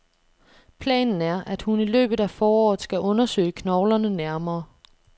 Planen er, at hun i løbet af foråret skal undersøge knoglerne nærmere.